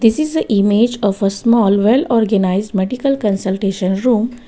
This is a image of a small well organised medical consultation room.